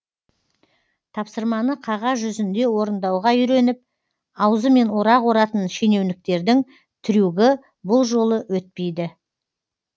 тапсырманы қағаз жүзінде орындауға үйреніп аузымен орақ оратын шенеуніктердің трюгі бұл жолы өтпейді